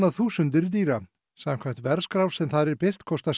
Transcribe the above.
þúsundir dýra samkvæmt verðskrá sem þar er birt kostar